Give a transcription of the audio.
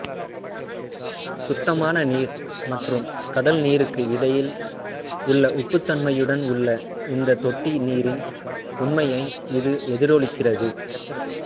சுத்தமான நீர் மற்றும் கடல்நீருக்கு இடையில் உள்ள உப்புத்தன்மையுடன் உள்ள இந்த தொட்டி நீரின் உண்மையை இது எதிரொலிக்கிறது